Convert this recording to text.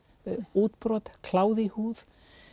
útbrot kláði í húð